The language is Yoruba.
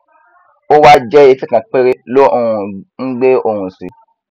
ówá jẹ etí kan péré ló um ngbé ohùn sí